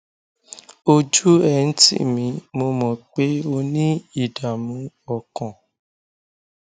ojú ẹ ń tì mí mo mọ pé o ní ìdààmú ọkàn